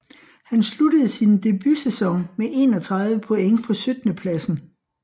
Han sluttede sin debutsæson med 31 point på syttendepladsen